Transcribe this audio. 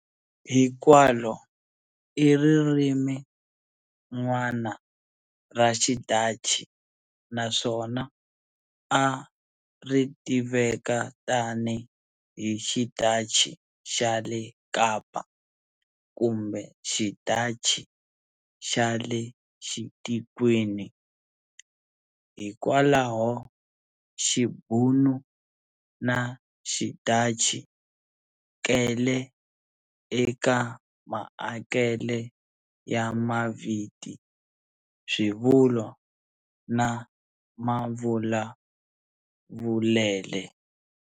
Hikwalo, i ririmin'wana ra xiDhachi naswona a ritiveka tani hi xidhachi xale Kapa, kumbe "xiDhachi xale xitikweni". Hikwalaho, Xibhunu na xiDhachi kele eka maakele ya maviti, swivulwa na mavulavulele.